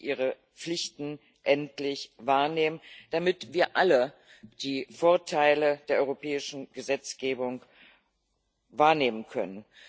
Sie müssen ihre Pflichten endlich wahrnehmen, damit wir alle die Vorteile der europäischen Gesetzgebung wahrnehmen können.